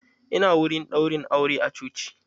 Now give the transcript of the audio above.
Ina wurin ɗaurin aure a coci.